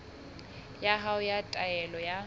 ya hao ya taelo ya